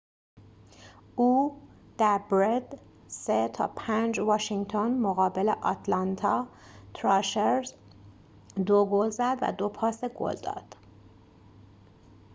او در برد ۵-۳ واشینگتن مقابل آتلانتا تراشرز ۲ گل زد و ۲ پاس گل داد